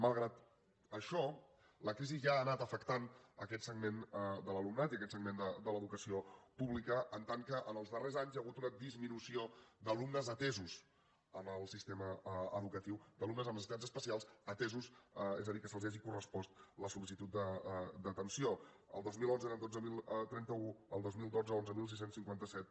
malgrat això la crisi ja ha anat afectant aquest segment de l’alumnat i aquest segment de l’educació pública en tant que en els darrers anys hi ha hagut una disminució d’alumnes amb necessitats especials atesos en el sistema educatiu és a dir que se’ls hagi correspost la sol·licitud d’atenció el dos mil onze eren dotze mil trenta u el dos mil dotze onze mil sis cents i cinquanta set